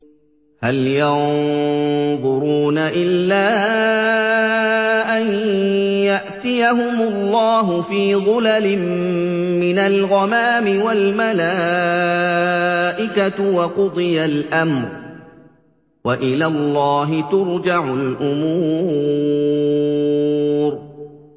هَلْ يَنظُرُونَ إِلَّا أَن يَأْتِيَهُمُ اللَّهُ فِي ظُلَلٍ مِّنَ الْغَمَامِ وَالْمَلَائِكَةُ وَقُضِيَ الْأَمْرُ ۚ وَإِلَى اللَّهِ تُرْجَعُ الْأُمُورُ